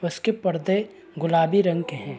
उसके पर्दे गुलाबी रंग के हैं।